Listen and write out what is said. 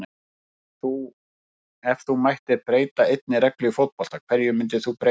Ef þú mættir breyta einni reglu í fótbolta, hverju myndir þú breyta??